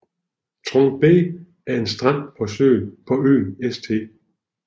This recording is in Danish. Trunk Bay er en strand på øen St